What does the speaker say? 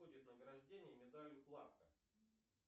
награждение медалью кларка